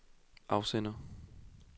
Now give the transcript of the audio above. afsender